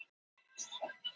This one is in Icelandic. Krotarar sóðuðu út leikskóla